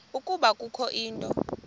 ukuba kukho into